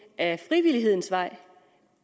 ad frivillighedens vej